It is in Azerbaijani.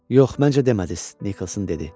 Yox, məncə demədiz, Nikolson dedi.